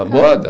A moda?